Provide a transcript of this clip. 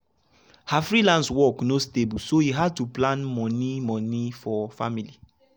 her freelance work no stable so e hard to plan money money for family.